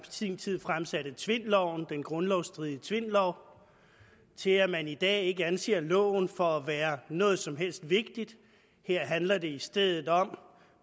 sin tid fremsatte tvindloven den grundlovsstridige tvindlov til at man i dag ikke anser loven for at være noget som helst vigtigt her handler det i stedet om